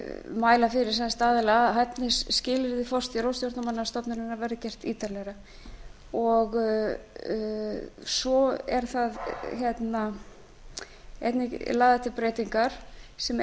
mæla fyrir um að hæfnisskilyrði forstjóra og stjórnarmanna stofnunarinnar verði gert ítarlegra svo eru einnig lagðar til breytingar sem